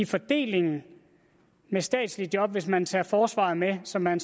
fordelingen af statslige job hvis man tager forsvaret med som man